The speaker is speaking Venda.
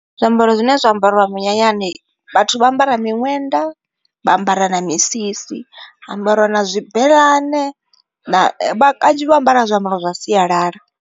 Zwiambaro zwine zwa ambariwa minyanyani vhathu vha ambara miṅwenda, vha ambara na misisi ha ambariwa na zwibeḽane kanzhi vha ambara zwiambaro zwa sialala.